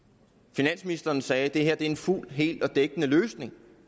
finansministeren sagde at det her er en fuld hel og dækkende løsning